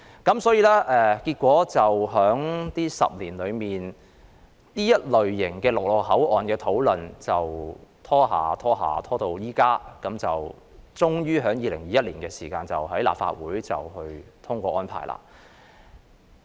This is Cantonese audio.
如是者，在過去10年間，關乎這類陸路口岸的討論便拖延至今，當局最終在2021年才尋求立法會通過有關安排。